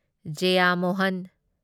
Jayamohan